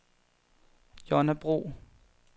Jonna Bro